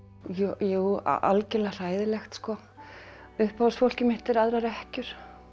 jú algjörlega hræðilegt sko uppáhaldsfólkið mitt er aðrar ekkjur